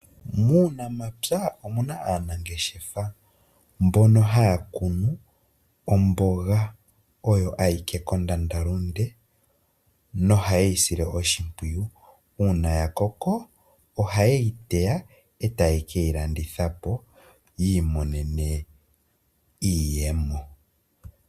Muunamapya omuna aanangeshefa mbono haya kunu omboga oyo ayike kondandalunde noha ye yi sile oshimpwiyu, uuna ya koko ohaye yi teya e ta ye ke yi landithe po yi imonene iiyemo.